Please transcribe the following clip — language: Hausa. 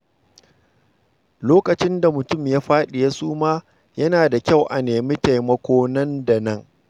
Lokacin da mutum ya fadi ya suma, yana da kyau a nemi taimako nan da nan.